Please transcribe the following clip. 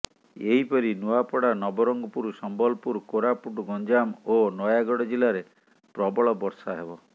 ଏହିପରି ନୂଆପଡା ନବରଙ୍ଗପୁର ସମ୍ବଲପୁର କୋରାପୁଟ ଗଞ୍ଜାମ ଓ ନୟାଗଡ ଜିଲ୍ଲାରେ ପ୍ରବଳ ବର୍ଷା ହେବ